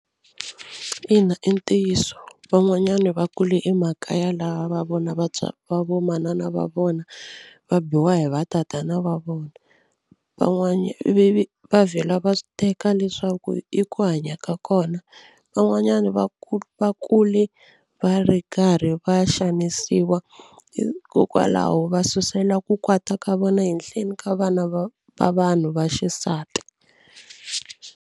Ina i ntiyiso van'wanyana va kule emakaya laha va vona va vo manana va vona va biwa hi va tatana va vona va vhela va teka leswaku i ku hanya ka kona. Van'wanyani va ku va kule va ri karhi va xanisiwa hikokwalaho va susela ku kwata ka vona henhleni ka vana va va vanhu va xisati.